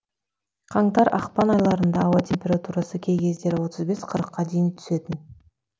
қаңтар ақпан айларында ауа температурасы кей кездері отыз бес қырыққа дейін түсетін